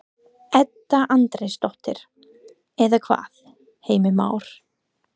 Edda Andrésdóttir: Eða hvað, Heimir Már?